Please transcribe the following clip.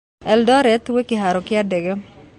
Eldoret gwĩ kĩhaaro kĩa ndege